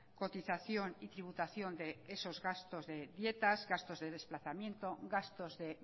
cotización y tributación de esos gastos de dietas gastos de desplazamiento gastos de